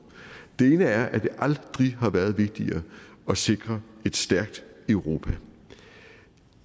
den ene er at det aldrig har været vigtigere at sikre et stærkt europa